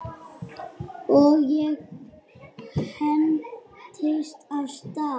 Og ég hentist af stað.